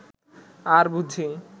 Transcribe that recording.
আর বুঝি